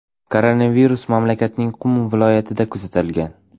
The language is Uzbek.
Koronavirus mamlakatning Qum viloyatida kuzatilgan.